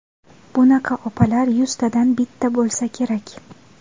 Bunaqa opalar yuztadan bitta bo‘lsa kerak.